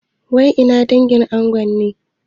Wai ina dangin ango ne?